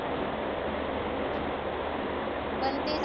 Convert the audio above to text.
पण ते जे